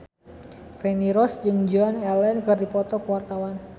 Feni Rose jeung Joan Allen keur dipoto ku wartawan